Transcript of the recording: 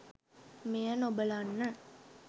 මෙය නොබලන්න.